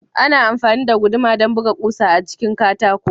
Ana amfani da guduma don buga ƙusa a cikin katako.